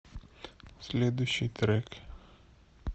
следующий трек